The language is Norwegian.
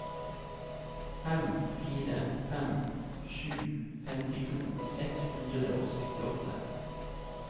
fem fire fem sju femtito ett hundre og syttiåtte